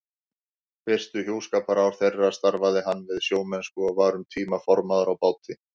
Fyrstu hjúskaparár þeirra starfaði hann við sjómennsku og var um tíma formaður á báti.